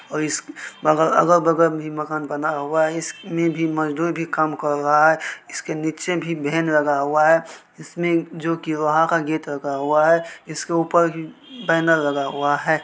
और इस बग-अगल बगल में मकान बना हुआ है इसमे मजदूर भी काम कर रहा है इसके नीचे भी वैन लगा हुआ है इसमे जोकि वहां का गेट लगा हुआ है इसके ऊपर बेनर लगा हुआ है।